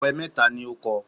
Ọ̀pẹ mẹ́ta ni ó kọ